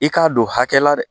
I k'a don hakɛ la dɛ